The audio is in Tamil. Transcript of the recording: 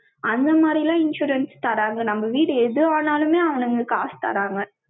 அந்த மாதிரிலாம் insurance தராங்க. நம்ம வீடு எதுவானாலுமே அவனுங்க காசு தறாங்க.